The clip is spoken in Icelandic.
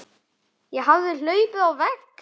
Ég hafði hlaupið á vegg.